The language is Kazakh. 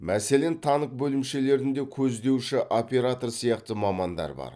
мәселен танк бөлімшелерінде көздеуші оператор сияқты мамандар бар